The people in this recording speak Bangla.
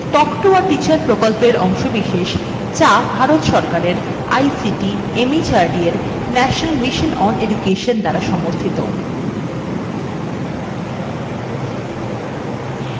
কথ্য tutorial project একটি শিক্ষক প্রকল্প থেকে টক শিক্ষা জাতীয় আইসিটি mhrd ভারত সরকার মাধ্যমে mission দ্বারা সমর্থিত এর একটি অংশ